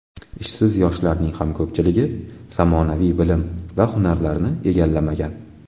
Ishsiz yoshlarning ham ko‘pchiligi zamonaviy bilim va hunarlarni egallamagan.